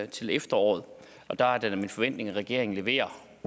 til efteråret der er det da min forventning at regeringen leverer